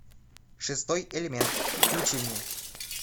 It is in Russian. шестой элемент включи мне